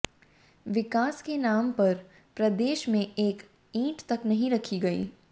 विकास के नाम पर प्रदेश में एक ईंट तक नहीं रखी गई